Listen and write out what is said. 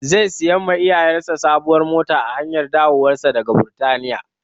Zai sai wa iyayesa sabuwar mota a hanyar dawowarsa daga Birtaniya.